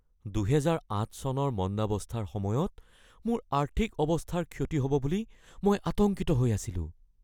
২০০৮ চনৰ মন্দাৱস্থাৰ সময়ত মোৰ আৰ্থিক অৱস্থাৰ ক্ষতি হ’ব বুলি মই আতংকিত হৈ আছিলোঁ।